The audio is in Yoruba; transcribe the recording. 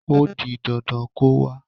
O di dandan kó wá.